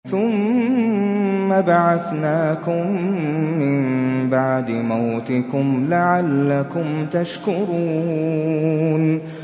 ثُمَّ بَعَثْنَاكُم مِّن بَعْدِ مَوْتِكُمْ لَعَلَّكُمْ تَشْكُرُونَ